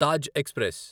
Taj express